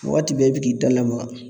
Wagati bɛɛ i be k'i da lamaga